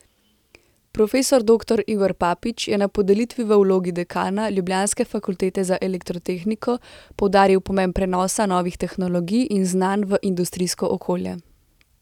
Profesor doktor Igor Papič je na podelitvi v vlogi dekana ljubljanske fakultete za elektrotehniko poudaril pomen prenosa novih tehnologij in znanj v industrijsko okolje.